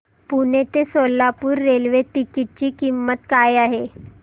पुणे ते Solapur railway ticket ची किंमत काय आहे